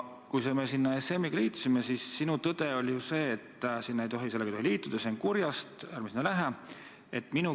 Kui me ESM-iga liitusime, siis sinu tõde oli ju, et sellega ei tohi liituda, see on kurjast, ärme sinna läheme.